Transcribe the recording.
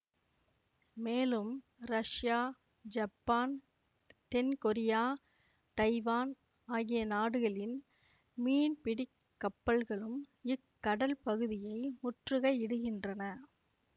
மேலும் Russia Japan தென் Korea Taiwan ஆகிய நாடுகளின் மீன்பிடிக் கப்பல்களும் இக்கடல் பகுதியில் முற்றுகை இடுகின்றன